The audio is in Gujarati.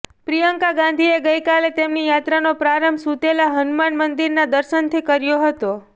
પ્રિયંકા ગાંધીએ ગઈકાલે તેમની યાત્રાનો પ્રારંભ સુતેલા હનુમાન મંદિરના દર્શનથી કર્યો હતો